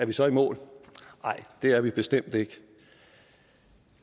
vi så er i mål nej det er vi bestemt ikke